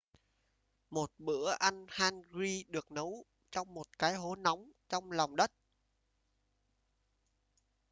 một bữa ăn hangi được nấu trong một cái hố nóng trong lòng đất